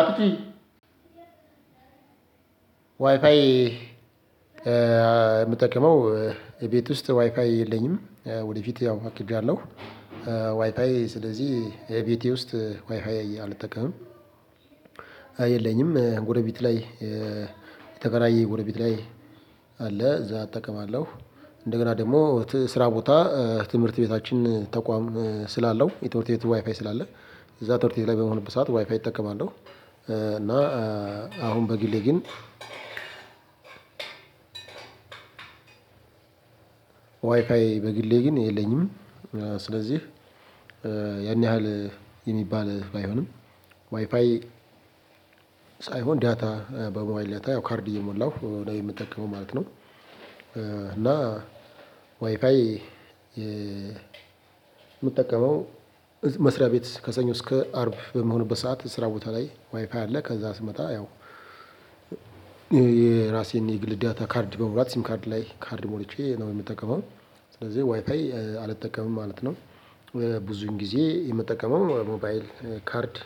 አክቲ፣ ዋይፋይ ምጠቀመው፣ እቤት ውስጥ ዋይፋይ የለኝም። ወደፊት ያው አቅጃለሁ። ዋይፓይ ስለዚህ የቤቴ ውስጥ ዋይፓይ አልጠቀምም። የለኝም። ጎረቤት ላይ የተከራየ ጎረቤት ላይ አለ። እዛ አጠቀማለሁ። እንደገና ደግሞ፣ ስራ ቦታ፣ ትምህርት ቤታችን ተቋም ስላለው፣ የትምርት ቤት ዋይፋይ ስላለ፣ እዛ ትምርት ቤት ላይ በመሆንበት ሰዓት ዋይፋይ እጠቀማለሁ። እ፣ አሁን በግሌ ግን ዋይፋይ በግሌ ግን የለኝም። ስለዚህ፣ ያን ያህል የሚባል ባይሆንም፣ ዋይፓይ ሳይሆን ዳታ በሞባይል ዳታ የው ካርድ እየሞላው ነው የሚጠቀመው ማለት ነው። እና፣ ዋይፋይ፣ ምጠቀመው፣ መስሪያ ቤት ከሰኞ እስከ አርብ በመሆንበት ሰዓት ስራ ቦታ ላይ ዋይፓይ አለ። ከዛ ስመጣ ያው የራሴን የግል ዳታ ካርድ በሞምላት ሲም ካርድ ላይ ካርድ ሞልቼ ነው ምጠቀመው። ስለዚህ ዋይፓይ አልጠቀምም ማለት ነው። ብዙን ጊዜ፣ የምጠቀመው፣ ሞባይል ካርድ